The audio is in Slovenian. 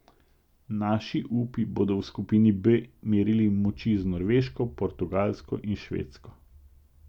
Naši upi bodo v skupini B merili moči z Norveško, Portugalsko in Švedsko.